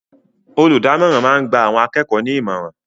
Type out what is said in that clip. Olùdámọ̀ràn máa ń gba àwọn akẹ́kọ̀ọ́ ní ìmọ̀ràn